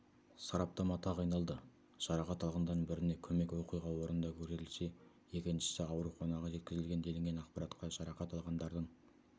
сараптама тағайындалды жарақат алғандардың біріне көмек оқиға орында көрсетілсе екіншісі ауруханаға жеткізілген делінген ақпаратта жарақат алғандардың